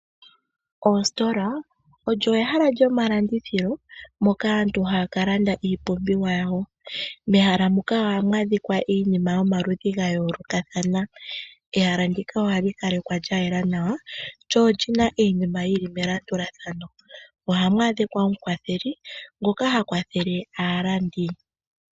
Ositola olyo ehala lyomalandithilo moka aantu hayaka landa iipumbiwa yawo mehala muka ohamu adhika iinima yomaludhi ga yoolokathana yo oyina iinima yili melandulathano mo omuna wo omukwatheli.